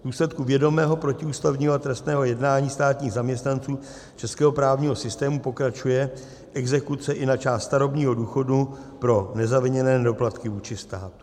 V důsledku vědomého protiústavního a trestného jednání státních zaměstnanců českého právního systému pokračuje exekuce i na část starobního důchodu pro nezaviněné nedoplatky vůči státu.